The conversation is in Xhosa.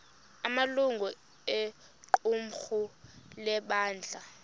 amalungu equmrhu lebandla